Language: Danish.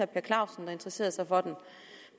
per clausen der interesserede sig for dem